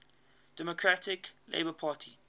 democratic labour party